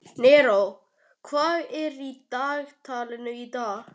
Neró, hvað er á dagatalinu í dag?